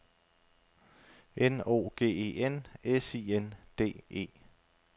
N O G E N S I N D E